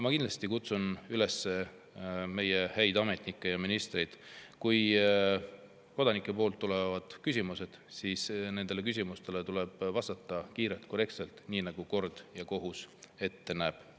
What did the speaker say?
Ma kindlasti kutsun üles meie häid ametnikke ja ministreid: kui kodanikelt tulevad küsimused, siis nendele küsimustele tuleb vastata kiirelt ja korrektselt, nii nagu kord ja kohus ette näeb.